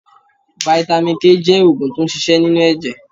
Vitamin K jẹ́ oògùn tó n ṣiṣẹ́ nínú ẹ̀jẹ̀